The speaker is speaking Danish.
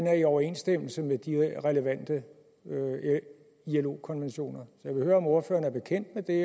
er i overensstemmelse med de relevante ilo konventioner så jeg vil høre om ordføreren er bekendt med det